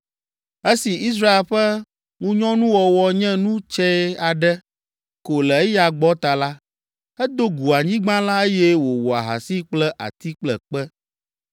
Esi Israel ƒe ŋunyɔnuwɔwɔ nye nu tsɛ aɖe ko le eya gbɔ ta la, edo gu anyigba la eye wòwɔ ahasi kple ati kple kpe.